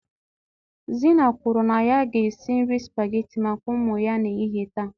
Zina kwuru na ya ga-esi nri spaghetti maka ụmụ ya n'ehihie taa.